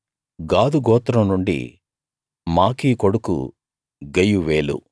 గాదు గోత్రం నుండి మాకీ కొడుకు గెయువేలు